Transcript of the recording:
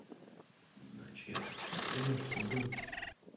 не знаю чья тут не знаю что с ней делать